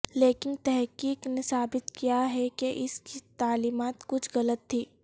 لیکن تحقیق نے ثابت کیا ہے کہ اس کی تعلیمات کچھ غلط تھیں